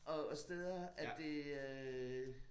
Og og steder at det øh